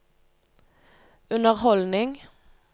underholdning